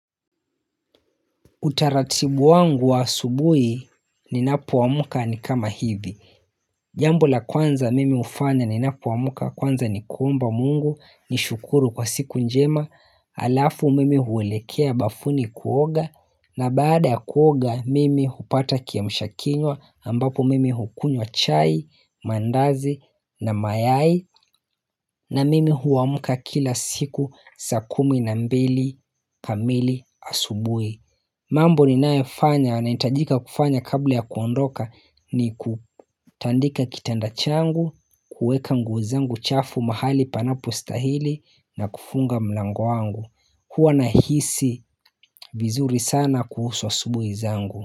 Utaratibu wangu wa asubui ninapoamka ni kama hivi Jambo la kwanza mimi hufanya ninapoamka kwanza ni kuomba mungu nishukuru kwa siku njema Alafu mimi huelekea bafuni kuoga na baada ya kuoga mimi hupata kiamsha kinywa ambapo mimi hukunywa chai, mandazi na mayai na mimi huamka kila siku saa kumi na mbili kamili asubui mambo ninaefanya nahitajika kufanya kabla ya kuondoka ni kutandika kitanda changu, kueka nguo zangu chafu mahali panapostahili na kufunga mlango wangu. Huwa nahisi vizuri sana kuhusu asubuhi zangu.